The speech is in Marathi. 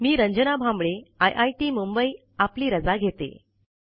मी रंजना भांबळे आयआयटी मुंबई आपली रजा घेते